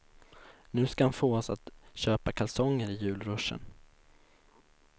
Nu ska han få oss att köpa kalsonger i julruschen.